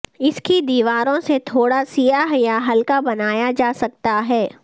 اس کی دیواروں سے تھوڑا سیاہ یا ہلکا بنایا جا سکتا ہے